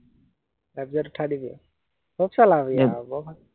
F Z উঠাই দিবি আৰু, খুব চলাবি আৰু উম বৰ ভাল।